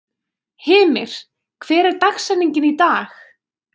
Hymir, hver er dagsetningin í dag?